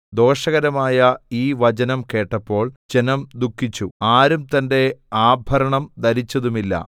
ദോഷകരമായ ഈ വചനം കേട്ടപ്പോൾ ജനം ദുഃഖിച്ചു ആരും തന്റെ ആഭരണം ധരിച്ചതുമില്ല